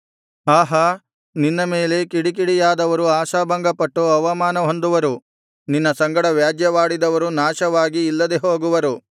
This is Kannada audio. ಆಹಾ ನಿನ್ನ ಮೇಲೆ ಕಿಡಿಕಿಡಿಯಾದವರು ಆಶಾಭಂಗಪಟ್ಟು ಅವಮಾನಹೊಂದುವರು ನಿನ್ನ ಸಂಗಡ ವ್ಯಾಜ್ಯವಾಡಿದವರು ನಾಶವಾಗಿ ಇಲ್ಲದೆ ಹೋಗುವರು